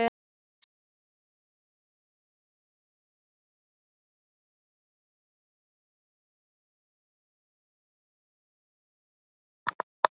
Vaknaði í nýju landi.